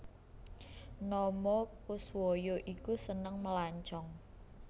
Nomo Koeswoyo iku seneng melancong